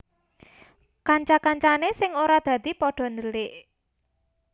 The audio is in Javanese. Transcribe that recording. Kanca kancane sing ora dadi pada dhelik